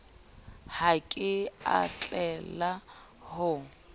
ha ke a tlela ho